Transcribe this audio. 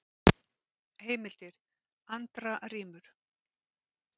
Heimildir: Andra rímur.